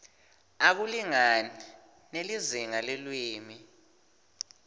akulingani nelizinga lelulwimi